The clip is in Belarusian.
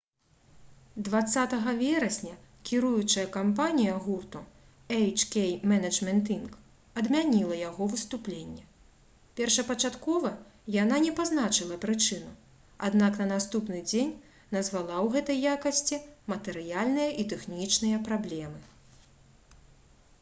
20 верасня кіруючая кампанія гурту «эйч-кей менеджмент інк.» адмяніла яго выступленне. першапачаткова яна не пазначыла прычыну аднак на наступны дзень назвала ў гэтай якасці матэрыяльныя і тэхнічныя праблемы